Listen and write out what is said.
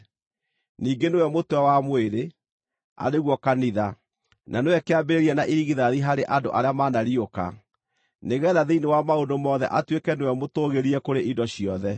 Ningĩ nĩwe mũtwe wa mwĩrĩ, arĩ guo kanitha; na nĩwe kĩambĩrĩria na irigithathi harĩ andũ arĩa manariũka, nĩgeetha thĩinĩ wa maũndũ mothe atuĩke nĩwe mũtũũgĩrie kũrĩ indo ciothe.